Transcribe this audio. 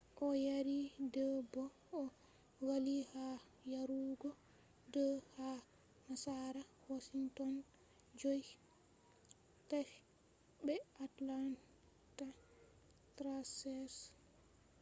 o yari 2 bo o valli ha yarugo 2 ha nasara washington’s 5-3 be atlanta thrashers